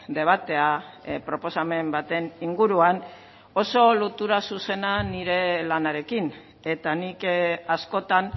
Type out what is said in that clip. debatea proposamen baten inguruan oso lotura zuzena nire lanarekin eta nik askotan